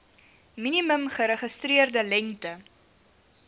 minimum geregistreerde lengte